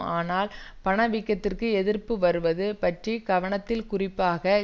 ஆனால் பண வீக்கத்திற்கு எதிர்ப்பு வருவது பற்றி கவனத்தில் குறிப்பாக